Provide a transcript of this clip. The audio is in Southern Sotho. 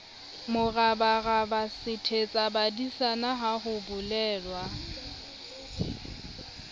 morabaraba sethetsabadisana ha ho bolelwa